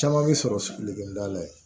Caman bɛ sɔrɔ sigilenkonda la yen